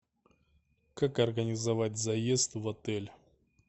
как организовать заезд в отель